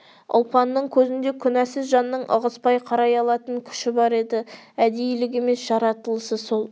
ұлпанның көзінде күнәсіз жанның ығыспай қарай алатын күші бар еді әдейілік емес жаратылысы сол